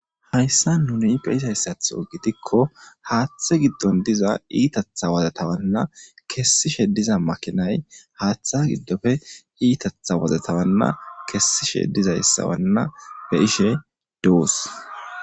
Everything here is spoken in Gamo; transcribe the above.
hayssa nuni beisayssath gitikko haaththe giddon diza iitatha wozatawanna kessishe diza makinay haaththe giddofe iitatha wozatawanna kessishe dizayssawanna be ishe dous